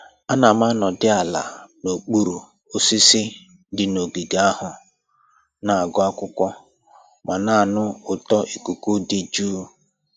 Ana m anọdị ala n'okpuru osisi dị n'ogige ahụ, na-agụ akwụkwọ ma na-anụ ụtọ ikuku dị jụụ